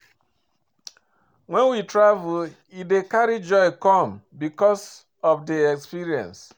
When we travel e dey carry joy come because of di experience